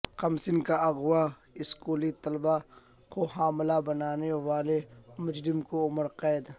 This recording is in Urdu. کمسن کا اغواء و اسکولی طالبہ کو حاملہ بنانے والے مجرم کو عمر قید